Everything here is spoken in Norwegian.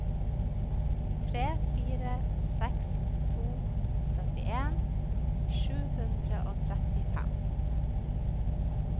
tre fire seks to syttien sju hundre og trettifem